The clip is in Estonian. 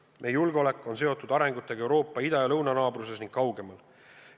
Meie julgeolek on seotud arengusuundadega Euroopa ida- ja lõunanaabruses ning kaugemal.